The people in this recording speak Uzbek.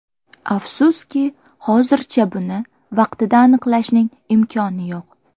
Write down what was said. Afsuski, hozircha buni vaqtida aniqlashning imkoni yo‘q.